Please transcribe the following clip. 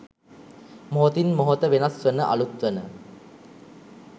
මොහොතින් මොහොත වෙනස් වන අලුත් වන